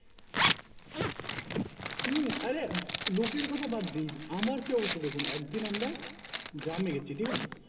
হুম আরে লোকের কথা বাদ দিন আমার কি অবস্থা দেখুন একদিন আমরা গ্রামে গেছি ঠিক আছে